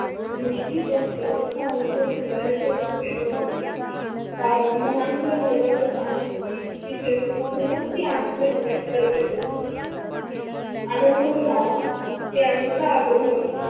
दृष्ठीत असत तस आनंद घेणाऱ्या रुतीत असतो. फार लहान मुला निरागच आनंद निरुतीचे असते म्हणून ते आनंद घेण्यात तरबेज असत. आनंद हा त्यांचा अग्रह असतो.